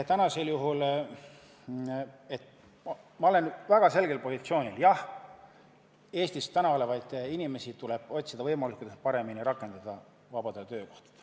Täna olen ma väga selgel positsioonil: jah, Eestis olevaid inimesi tuleb püüda võimalikult hästi rakendada vabadel töökohtadel.